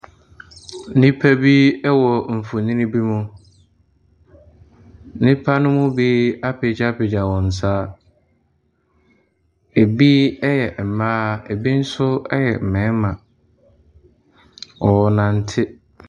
Nnipa bi wɔ mfonyini bi mu. Nnipa no mu bi apegyapegya wɔn nsa. Ebi yɛ mmaa. Ebi nso yɛ mmarima. Wɔrenante.